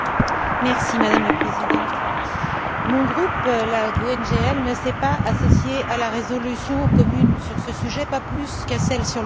Madame la Présidente, mon groupe, la GUE NGL, ne s'est pas associé à la résolution commune sur ce sujet, pas plus qu'à celle sur le Tibet.